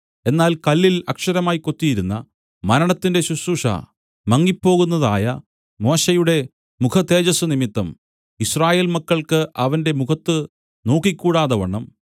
എന്നാൽ കല്ലിൽ അക്ഷരമായി കൊത്തിയിരുന്ന മരണത്തിന്റെ ശുശ്രൂഷ മങ്ങിപ്പോകുന്നതായ മോശെയുടെ മുഖതേജസ്സുനിമിത്തം യിസ്രായേൽ മക്കൾക്ക് അവന്റെ മുഖത്ത് നോക്കിക്കൂടാതവണ്ണം